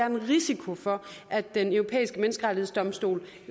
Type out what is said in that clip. en risiko for at den europæiske menneskerettighedsdomstol